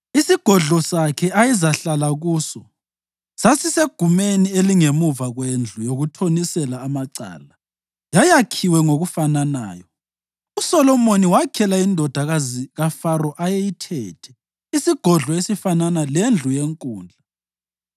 Isigodlo sakhe ayezahlala kuso sasisegumeni elingemuva kwendlu yokuthonisela amacala, yayakhiwe ngokufananayo. USolomoni wakhela indodakazi kaFaro ayeyithethe, isigodlo esifanana lendlu yenkundla.